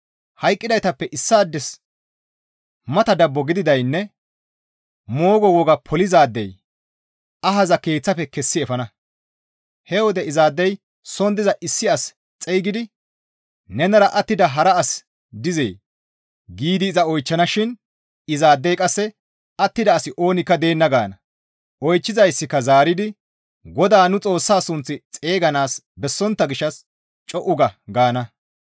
Hayqqidaytappe issaades mata dabbo gididaadeynne moogo woga polizaadey ahaza keeththafe kessi efana; he wode izaadey soon diza issi as xeygidi, «Nenara attida hara asi dizee?» giidi iza oychchana shin izaadey qasse, «Attida asi oonikka deenna» gaana. Oychchizayssika zaaridi, «GODAA nu Xoossa sunth xeyganaas bessontta gishshas co7u ga!» gaana.